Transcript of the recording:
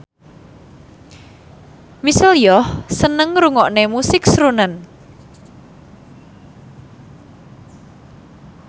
Michelle Yeoh seneng ngrungokne musik srunen